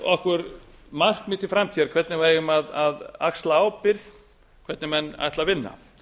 okkur markmið til framtíðar hvernig við eigum að axla ábyrgð hvernig menn ætla að vinna